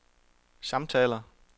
samtaler